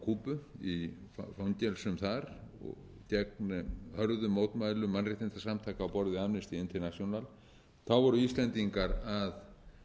kúbu í fangelsum þar gegn hörðum mótmælum mannréttindasamtaka á borð við amnesty international voru íslendingar að